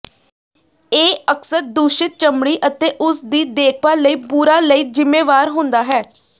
ਇਹ ਅਕਸਰ ਦੂਸ਼ਿਤ ਚਮੜੀ ਅਤੇ ਉਸ ਦੀ ਦੇਖਭਾਲ ਲਈ ਬੁਰਾ ਲਈ ਜ਼ਿੰਮੇਵਾਰ ਹੁੰਦਾ ਹੈ